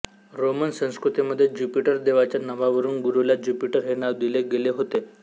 Roman संस्कृतीमध्ये Jupiter देवाच्या नावावरून गुरूला ज्युपिटर हे नाव दिले गेले होते